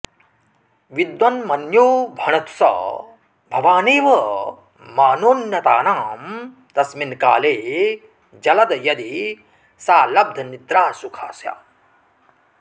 विद्वन्मन्यो भणतु स भवानेव मानोन्नतानां तस्मिन्काले जलद यदि सा लब्धनिद्रासुखा स्यात्